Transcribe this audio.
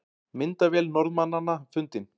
Myndavél Norðmannanna fundin